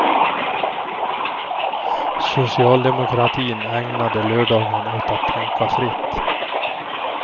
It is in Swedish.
Socialdemokratin ägnade lördagen åt att tänka fritt.